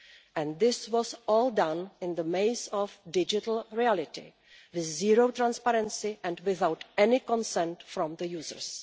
And this was all done in the maze of digital reality with zero transparency and without any consent from the users.